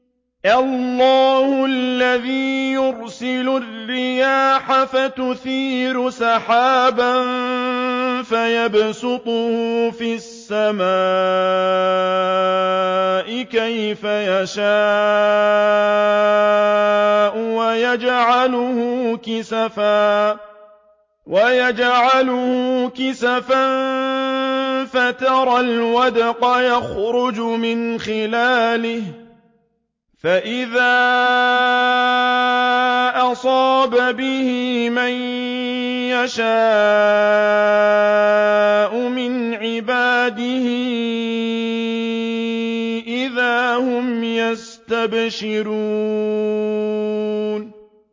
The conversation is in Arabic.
اللَّهُ الَّذِي يُرْسِلُ الرِّيَاحَ فَتُثِيرُ سَحَابًا فَيَبْسُطُهُ فِي السَّمَاءِ كَيْفَ يَشَاءُ وَيَجْعَلُهُ كِسَفًا فَتَرَى الْوَدْقَ يَخْرُجُ مِنْ خِلَالِهِ ۖ فَإِذَا أَصَابَ بِهِ مَن يَشَاءُ مِنْ عِبَادِهِ إِذَا هُمْ يَسْتَبْشِرُونَ